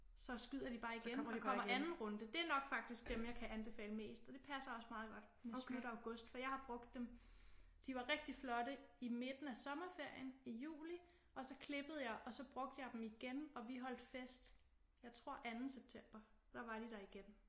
Så skyder de bare igen og kommer anden runde det er nok faktisk dem jeg kan anbefale mest og det passer også meget godt det er slut august for jeg har brugt dem de var rigtig flotte i midten af sommerferien i juli og så klippede jeg og så brugte jeg dem igen og vi holdt fest jeg tror anden september der var de der igen